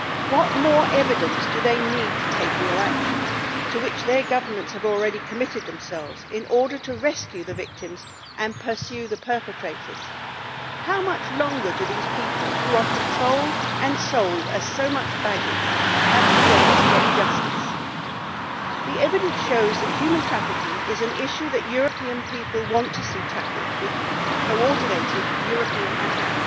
What more evidence do they need to take real action, to which their governments have already committed themselves, in order to rescue the victims and pursue the perpetrators? How much longer do these people, who are controlled and sold as so much baggage, have to wait to get justice? The evidence shows that human trafficking is an issue that European people want to see tackled with coordinated European action.